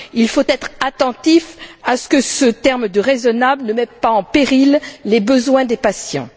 Il faut être attentif à ce que ce terme de raisonnable ne mette pas en péril les besoins des patients.